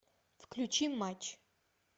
включи матч